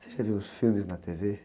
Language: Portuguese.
Você já viu os filmes na tê-vê?